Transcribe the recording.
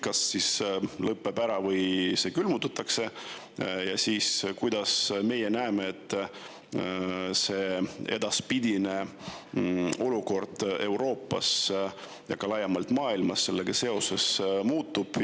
Kas siis konflikt lõpeb ära või see külmutatakse ja kuidas siis edaspidine olukord Euroopas ja ka laiemalt maailmas sellega seoses muutub?